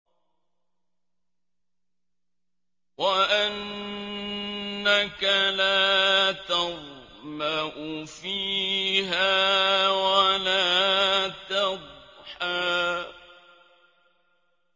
وَأَنَّكَ لَا تَظْمَأُ فِيهَا وَلَا تَضْحَىٰ